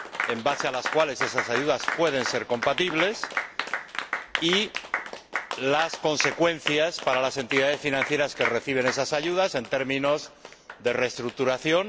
en función de las cuales esas ayudas pueden ser compatibles y las consecuencias para las entidades financieras que reciben esas ayudas, en términos de reestructuración.